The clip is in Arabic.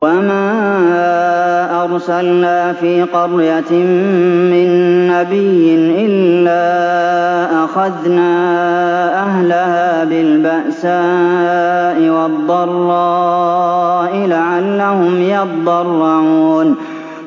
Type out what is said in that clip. وَمَا أَرْسَلْنَا فِي قَرْيَةٍ مِّن نَّبِيٍّ إِلَّا أَخَذْنَا أَهْلَهَا بِالْبَأْسَاءِ وَالضَّرَّاءِ لَعَلَّهُمْ يَضَّرَّعُونَ